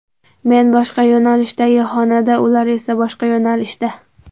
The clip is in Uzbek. Men boshqa yo‘nalishdagi xonanda, ular esa boshqa yo‘nalishda.